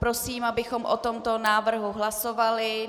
Prosím, abychom o tomto návrhu hlasovali.